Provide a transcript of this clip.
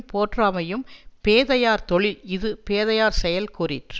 போற்றாமையும் பேதையார் தொழில் இது பேதையார்செயல் கூறிற்று